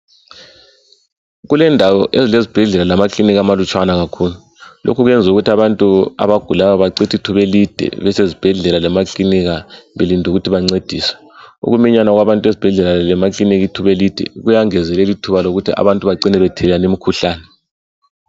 Kulendawo ezilezibhedlela lamakilinika amalutshwane kakhulu. Lokhu kwenza abantu abagulayo bacithe ithuba elide belinde ukuthi bancediswe. Ukuminyana kwabantu ezibhedlela lemakilinika kuyangezelela ithuba lokuthi abantu bacine bethelelana imikhuhlane.